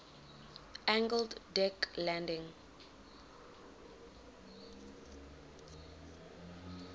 angled deck landing